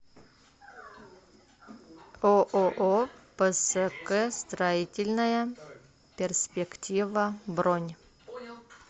ооо пск строительная перспектива бронь